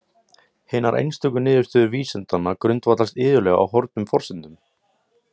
Hinar einstöku niðurstöður vísindanna grundvallast iðulega á horfnum forsendum.